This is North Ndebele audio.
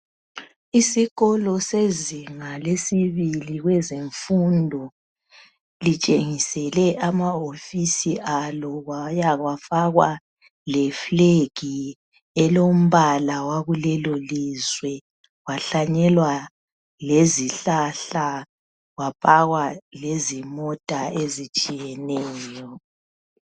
isikolo sezinga lesibili kwezemfundo sitshengisele ama wofisi abo kwaya kwafakwa le flag elombala wakulelo lizwe kwahlanyelwa lezihlahla kwapakwa lezimota ezitshiyeneyo